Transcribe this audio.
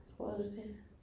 Tror du det?